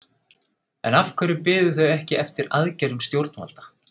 En af hverju biðu þau ekki eftir aðgerðum stjórnvalda?